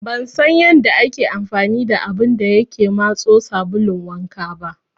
Ban san yanda ake amfani da abun da yake matso sabulun wanka ba.